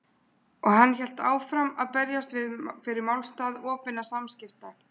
Og hann hélt áfram að berjast fyrir málstað opinna samskipta.